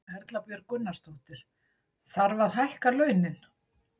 Erla Björg Gunnarsdóttir: Þarf að hækka launin?